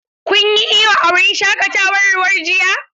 Kun yi iyo a wurin shaƙatawar ruwa jiya?